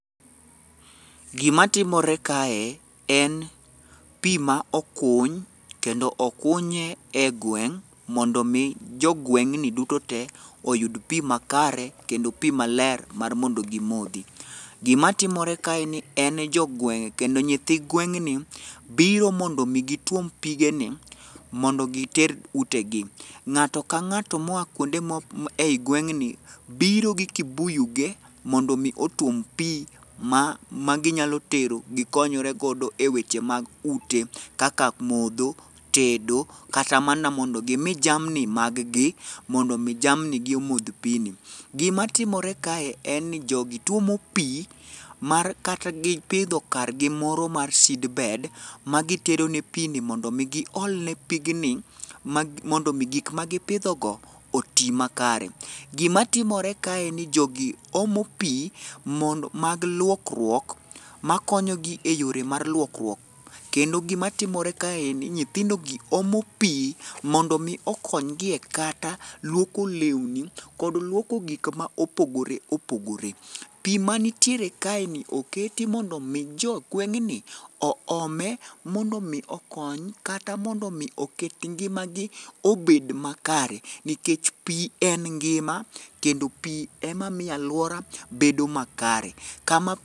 Gima timore kae en pi ma okuny kendo okunye e gweng' mondo mi jogweng' duto te oyud pi makare kendo pi maler mar mondo gimodhi. Gima timore kaeni en ni jo gweng' kendo nyithi gweng'ni biro mondo mi gituom pigeni mondo giter utegi. Ng'ato ka ng'ato moa kuonde e gweng'ni biro gi kibuyu ge mondo mi otuom pi maginyalo tero gikonyre godo eweche mag ute kaka modho, tedo, kata mana mondo gimi jamni mag gi mondo mi jamni gi omodh pi ni. Gima timore kae en ni jogi tuomo pi mar kata gipidho kar gi moro mar seed bed magitero negi pig ni mondo mi giol ne mondo mi gik magipidho go oti makare. Gima timore kae ni jogi omo pi mondo mag luokruok makonyogi eyore mar luokruok kendo gima timore kaendi ni nyithindo gi omo pi mondo mi okonygi e kata luoko lewni kod luoko gik ma opogore opogore. Pi manitiere kaeni oketi mondo mi jo gweng'ni oome mondo mi okony kata mondo mi oket ngimagi obed makare nikech pi en ngima kendo pi ema miyo aluora bedo makare. Kama